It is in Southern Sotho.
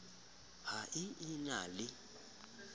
ha a e na le